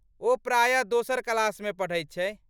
ओ प्रायः दोसर क्लासमे पढ़ैत छै।